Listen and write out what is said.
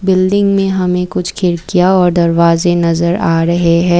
Building में हमें कुछ खिड़कियां और दरवाजे नजर आ रहे हैं।